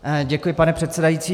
Děkuji, pane předsedající.